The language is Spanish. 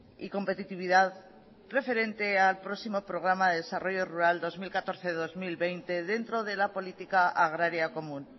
y competitividad referente al próximo programa de desarrollo rural dos mil catorce dos mil veinte dentro de la política agraria común